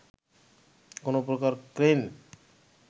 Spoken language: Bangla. কোনো প্রকার ক্রেন